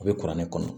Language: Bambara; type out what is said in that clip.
A bɛ kuranɛ kɔnɔ